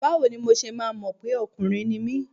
Báwo ni mo ṣe máa mọ̀ pé ọkùnrin ni mí?